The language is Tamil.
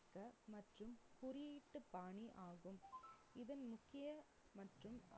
மற்றும் குறியீட்டு பாணி ஆகும் இதன் முக்கிய மற்றும்